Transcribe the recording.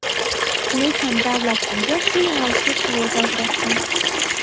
Lekin davlat unga shu yo‘nalishga kvota ajratgan.